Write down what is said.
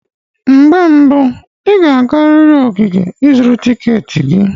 Mgbe mbu, ị ​​ga-agarịrị ogige ịzụrụ tiketi gị.